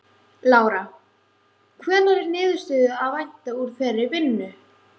Lára: Hvenær er niðurstöðu að vænta úr þeirri vinnu?